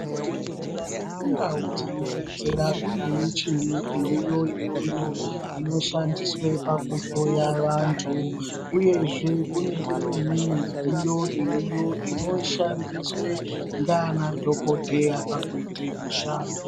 Kuzvibhedhlera nekundau dzinobetsera kune michini iriyo iyoyo inoshandiswe pakuhloya vanthu uyezve kune imweni midziyo iriyo inoshandiswe nganadhokodheya kuite mushando.